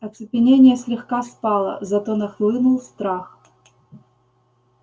оцепенение слегка спало зато нахлынул страх